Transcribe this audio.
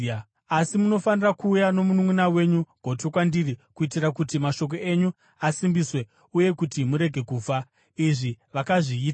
Asi munofanira kuuya nomununʼuna wenyu gotwe kwandiri, kuitira kuti mashoko enyu asimbiswe uye kuti murege kufa.” Izvi vakazviita.